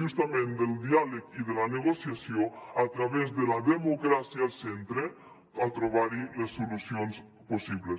justament del diàleg i de la negociació a través de la democràcia al centre a trobar hi les solucions possibles